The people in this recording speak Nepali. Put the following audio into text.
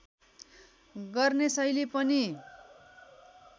गर्ने शैली पनि